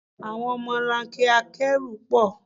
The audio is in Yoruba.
Àwọn ọmọlanke akẹ́rù pọ̀.